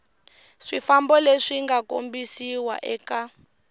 swifambo leswi nga kombisiwa eka